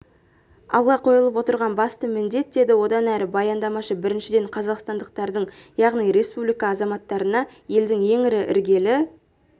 алға қойылып отырған басты міндет деді одан әрі баяндамашы біріншіден қазақстандықтардың яғни республика азаматтарына елдің ең ірі іргелі